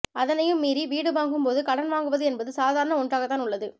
அதனையும் மீறி வீடு வாங்கும் போது கடன் வாங்குவது என்பது சாதாரண ஒன்றாகத்தான் உள்ளது